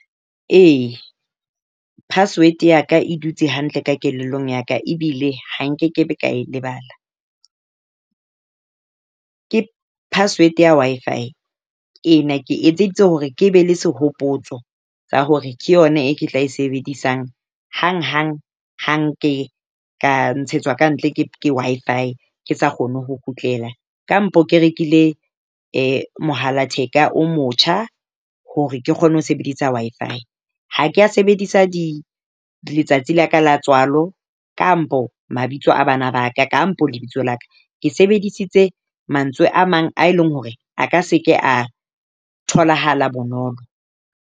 E, password ya ka e dutse hantle ka kelellong ya ka ebile ha nkekebe ka e lebala. Ke password ya Wi-Fi. Ena ke etseditse hore ke be le sehopotso sa hore ke yona e ke tla e sebedisang hanghang hang ke ka ntshetswa ka ntle ke Wi-Fi. Ke sa kgone ho kgutlela kampo ke rekile mohala theka o motjha hore ke kgone ho sebedisa Wi-Fi. Ha ke a sebedisa di letsatsi la ka la tswalo kampo mabitso a bana ba ka kampo lebitso la ka. Ke sebedisitse mantswe a mang a e leng hore a ka se ke a tholahala bonolo.